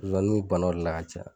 Zonzani bi bana o de la ka caya